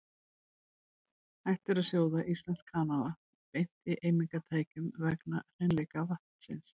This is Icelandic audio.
Hægt er að sjóða íslenskt kranavatn beint í eimingartækjum vegna hreinleika vatnsins.